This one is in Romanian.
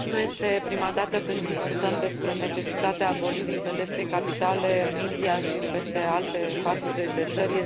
Nu este prima dată când discutăm despre necesitatea abolirii pedepsei capitale în India și în peste alte 40 de țări.